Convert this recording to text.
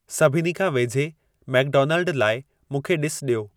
सभिनी खां वेझे मैकडोनाल्ड लाइ मूंखे ॾिस ॾियो